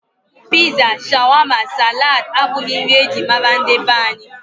Piza, shawama, salad abụghị nri e ji mara ndị be anyị.